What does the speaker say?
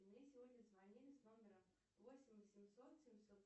мне сегодня звонили с номера восемь восемьсот семьсот